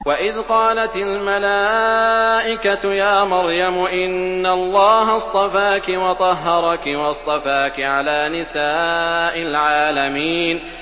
وَإِذْ قَالَتِ الْمَلَائِكَةُ يَا مَرْيَمُ إِنَّ اللَّهَ اصْطَفَاكِ وَطَهَّرَكِ وَاصْطَفَاكِ عَلَىٰ نِسَاءِ الْعَالَمِينَ